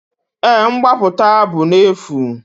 Èé, mgbapụta bụ n'efu.